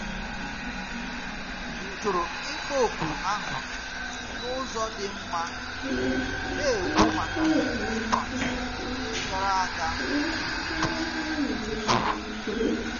M jụrụ ịkpọ oku ahụ n'ụzọ dị mma, na-ekwu maka nkwa ndị gara aga m kwesịrị imezu.